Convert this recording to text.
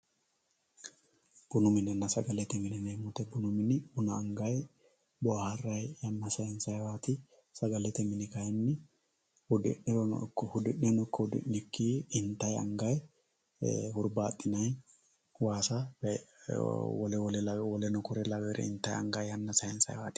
Bunu minenna sagalete mine yinayi woyite bunu mini buna anga boharayi, waarayi yana sayinsayiwati, sagalete mini kayini hudi'ne ikko hudi'nikki intayi angayi huribaxinayi waassa woleno kuri laweyuore intayi yana sayisayiwati